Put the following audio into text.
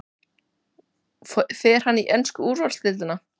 Fer hann í ensku úrvalsdeildina?